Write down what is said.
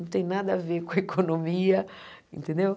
Não tem nada a ver com a economia, entendeu?